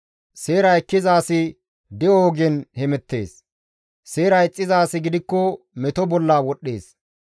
Seera ekkiza asi de7o ogen hemettees; seera ixxiza asi gidikko meto bolla wodhdhees.